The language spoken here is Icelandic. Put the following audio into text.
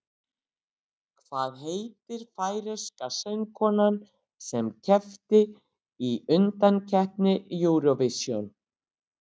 Hvað heitir færeyska söngkonan sem keppti í undankeppni Eurovision?